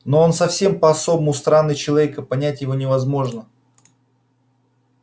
но он совсем по-особому странный человек и понять его невозможно